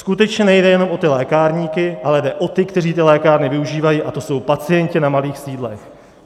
Skutečně nejde jen o ty lékárníky, ale jde o ty, kteří ty lékárny využívají, a to jsou pacienti na malých sídlech.